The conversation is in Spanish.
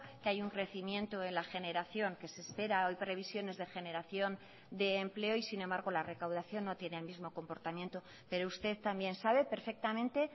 que hay un crecimiento de la generación que se espera hoy previsiones de generación de empleo y sin embargo la recaudación no tiene el mismo comportamiento pero usted también sabe perfectamente